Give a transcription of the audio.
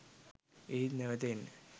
ඒත් නැවත එන්න